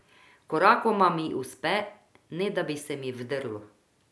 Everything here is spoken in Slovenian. Korakoma mi uspe, ne da bi se mi vdrlo.